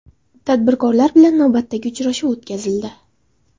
Tadbirkorlar bilan navbatdagi uchrashuv o‘tkazildi.